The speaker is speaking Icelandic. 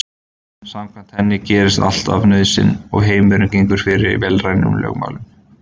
Samkvæmt henni gerist allt af nauðsyn og heimurinn gengur fyrir vélrænum lögmálum.